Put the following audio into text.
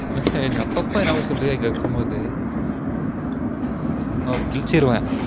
அஹ் அப்பப்ப என்னமொ சொல்லுவியே இங்க இருக்கும் போது ஒ கிழிச்சுருவன்